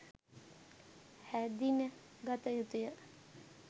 හැඳින ගතයුතුය.